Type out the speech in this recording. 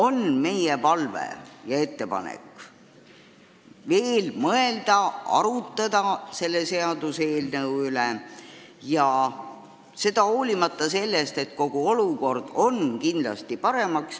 Nii et meil on palve ja ettepanek veel mõelda, arutada seda seaduseelnõu, hoolimata sellest, et olukord läheb paremaks.